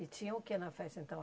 E tinha o que na festa, então?